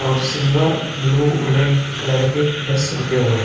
और silver blue red colour के bus रुके हुए।